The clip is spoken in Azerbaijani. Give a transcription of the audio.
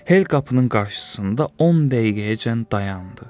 Hel qapının qarşısında 10 dəqiqəyəcən dayandı.